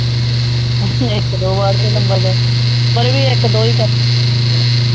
ਇਕ ਦੋ word ਪਰ ਇਕ ਦੋ